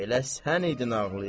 Elə sən idin ağlayan.